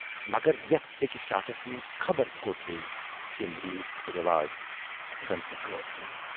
مگر یَتھ سیکہِ شاٹھس منز خبر کوت گٔیہِ تِم ریٖژ تہٕ رٮ۪واج، زَن تہِ غٲب گٔیہِ۔